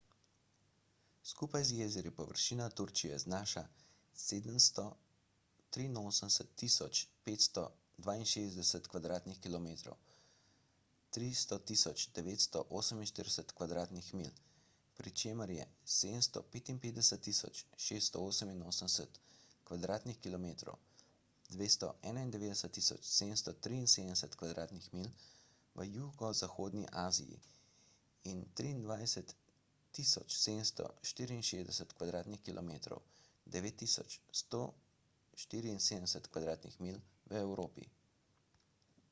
skupaj z jezeri površina turčije znaša 783.562 kvadratnih kilometrov 300.948 kvadratnih milj pri čemer je 755.688 kvadratnih kilometrov 291.773 kvadratnih milj v jugozahodni aziji in 23.764 kvadratnih kilometrov 9.174 kvadratnih milj v evropi